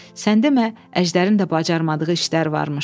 Sən demə, əjdərin də bacarmadığı işlər varmış.